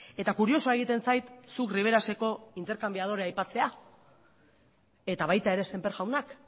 eta kuriosoa egiten zait zuk riberaseko interkanbiadorea aipatzea eta baita ere semper jaunak